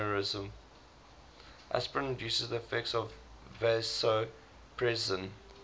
aspirin reduces the effects of vasopressin